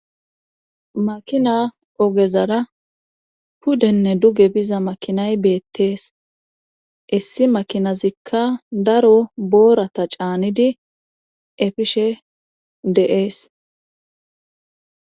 Makina ogezara puddenne duge biza makinay beettees issi makinazikka daro boorata caanidi efishshe de'ees